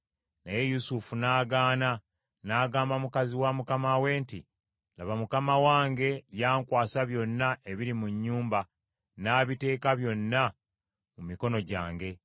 Naye Yusufu n’agaana, n’agamba mukazi wa mukama we nti, “Laba, mukama wange yankwasa byonna ebiri mu nnyumba, n’abiteeka byonna mu mikono gyange,